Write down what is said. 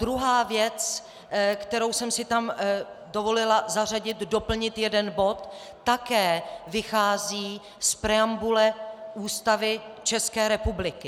Druhá věc, kterou jsem si tam dovolila zařadit, doplnit jeden bod, také vychází z preambule Ústavy České republiky.